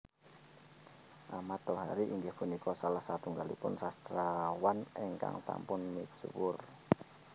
Ahmad Tohari inggih punika salah satunggalipun sastrawan ingkang sampun misuwur